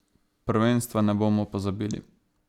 Prvenstva ne bomo pozabili.